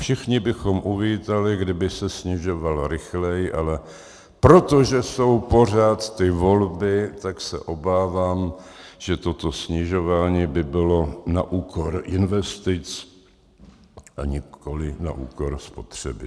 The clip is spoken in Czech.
Všichni bychom uvítali, kdyby se snižoval rychleji, ale protože jsou pořád ty volby, tak se obávám, že toto snižování by bylo na úkor investic a nikoli na úkor spotřeby.